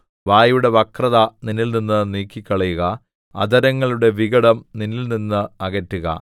വായുടെ വക്രത നിന്നിൽനിന്ന് നീക്കിക്കളയുക അധരങ്ങളുടെ വികടം നിന്നിൽനിന്ന് അകറ്റുക